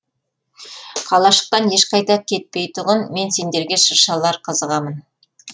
қалашықтан ешқайда кетпей тұғын мен сендерге шыршалар қызығамын